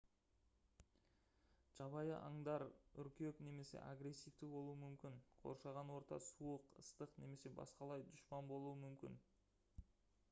жабайы аңдар үркек немесе агрессивті болуы мүмкін қоршаған орта суық ыстық немесе басқалай дұшпан болуы мүмкін